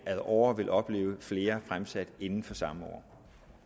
ad åre vil opleve flere fremsat inden for det samme år